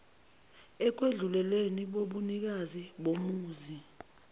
ekwedluleleni kobunikazi bomuzi